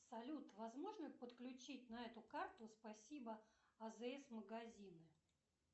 салют возможно подключить на эту карту спасибо азс магазины